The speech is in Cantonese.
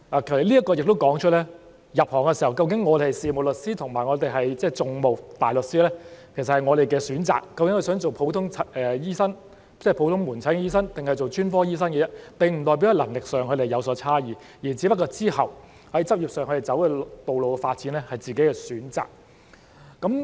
這亦說出了，入行的時候，究竟我們是事務大律師還是訟務大律師，其實是我們的選擇；即究竟想做普通醫生，即普通門診醫生，還是專科醫生，這並不代表他們在能力上有所差異，只是他們之後在執業上的發展道路有自己的選擇。